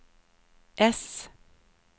S